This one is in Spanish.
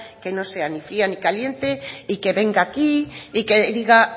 que no sea ni fría ni caliente y que venga aquí y que diga